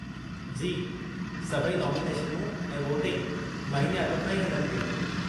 जी, सभई नामिनेशनूं ऐं वोटिंग महीने अॻु खां ई हलनि पियूं।